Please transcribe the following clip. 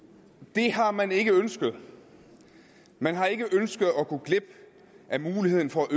det har man ikke ønsket man har ikke ønsket at gå glip af muligheden for at